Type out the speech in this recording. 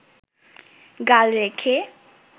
গাল রেখে